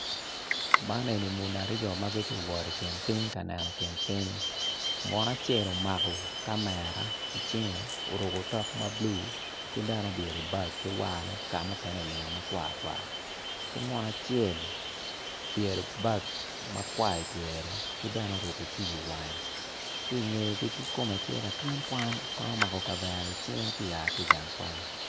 Man eni muni aryo magityey wot i kin ping kaneno kinping munu acel omako kamera i cinge oruko tok mablue ki bene olyero bagge ki warne kamukene olingo makwar kwar ki munu acel obyelo bag makwar i pyere kibene oruko kiyo i wange ki ngeye tye latin kwan ma omako kavera i cinge tye oa ki gang kwan.